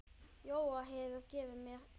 Jógað hefur gefið mér lífið.